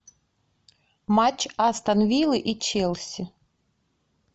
матч астон виллы и челси